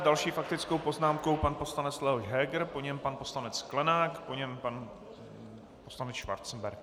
S další faktickou poznámkou pan poslanec Leoš Heger, po něm pan poslanec Sklenák, po něm pan poslanec Schwarzenberg.